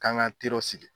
K'an ka teriw sigi